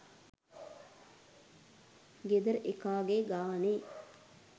ගෙදර එකාගෙ ගානෙ